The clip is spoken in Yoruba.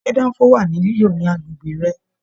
Ṣe danfo wà ní lilo ní agbègbè rẹ?